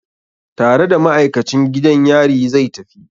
Tare da ma'aikacin gidan yari zai tafi?